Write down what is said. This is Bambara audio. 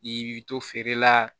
I b'i to feere la